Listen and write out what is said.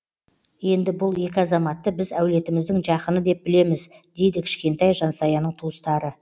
енді бұл екі азаматты біз әулетіміздің жақыны деп білеміз дейді кішкентай жансаяның туыстары